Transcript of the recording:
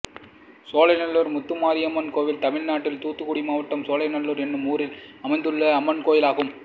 சோலைநல்லூர் முத்தாரம்மன் கோயில் தமிழ்நாட்டில் தூத்துக்குடி மாவட்டம் சோலைநல்லூர் என்னும் ஊரில் அமைந்துள்ள அம்மன் கோயிலாகும்